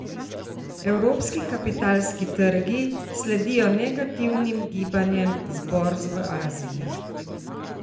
Evropski kapitalski trgi sledijo negativnim gibanjem z borz v Aziji.